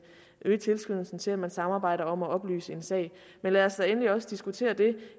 øge tilskyndelsen til at man samarbejder om at oplyse en sag men lad os da endelig også diskutere det